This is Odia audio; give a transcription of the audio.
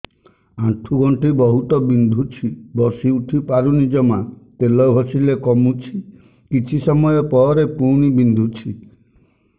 ଆଣ୍ଠୁଗଣ୍ଠି ବହୁତ ବିନ୍ଧୁଛି ବସିଉଠି ପାରୁନି ଜମା ତେଲ ଘଷିଲେ କମୁଛି କିଛି ସମୟ ପରେ ପୁଣି ବିନ୍ଧୁଛି